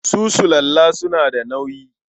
Su sulalla suna da nauyi.